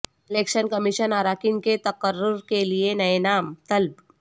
election commission اراکین کے تقرر کیلئے نئے نام طلب